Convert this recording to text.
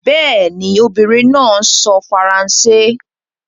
Bẹ́ẹ̀ ni, obìnrin náà ń sọ èdè Faransé